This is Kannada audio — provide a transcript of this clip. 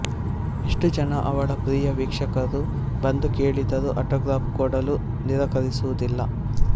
ಎಷ್ಟು ಜನ ಅವಳ ಪ್ರಿಯ ವೀಕ್ಷಕರು ಬಂದು ಕೇಳಿದರೂ ಆಟೊಗ್ರಾಫ್ ಕೊಡಲು ನಿರಾಕರಿಸುವುದಿಲ್ಲ